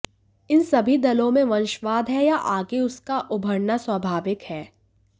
इन सभी दलों में वंशवाद है या आगे उसका उभरना स्वाभाविक है